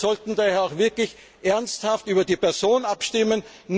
Wir sollten daher wirklich ernsthaft über die Person abstimmen.